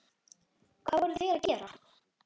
Hvað voru þeir að gera?